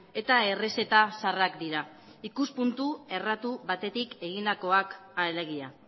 eta errezeta zarrak dira ikuspuntu erratu batetik egindakoak alegia